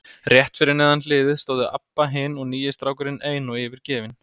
Rétt fyrir neðan hliðið stóðu Abba hin og nýi strákurinn ein og yfirgefin.